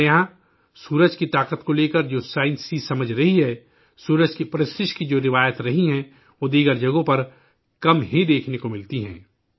ہمارے یہاں سورج کی طاقت کو لے کر جو سائنسی سمجھ رہی ہے، سورج کی عبادت کی جو روایات رہی ہیں، وہ دیگر جگہوں پر کم ہی دیکھنے کو ملتے ہیں